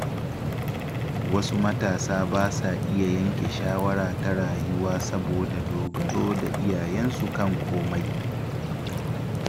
Wasu matasa ba sa iya yanke shawara ta rayuwa saboda dogaro da iyayensu kan komai.